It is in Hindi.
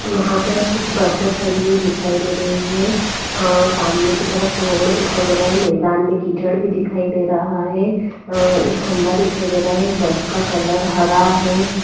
यहाँ पर कुछ बसे खड़ी हुई दिखाई दे रही है अ सामने की तरफ रोड दिखाई दे रहा है मैदान मे कीचड़ भी दिखाई दे रहा है अ एक खंबा दिखाई दे रहा है बस का कलर हरा है।